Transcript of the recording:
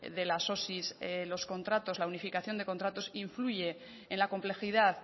de las osi los contratos la unificación de contratos influye en la complejidad